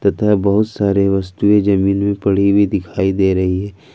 उधर बहुत सारे वस्तुएं जमीन में पड़ी हुई दिखाई दे रही है।